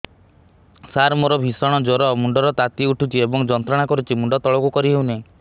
ସାର ମୋର ଭୀଷଣ ଜ୍ଵର ମୁଣ୍ଡ ର ତାତି ଉଠୁଛି ଏବଂ ଯନ୍ତ୍ରଣା କରୁଛି ମୁଣ୍ଡ ତଳକୁ କରି ହେଉନାହିଁ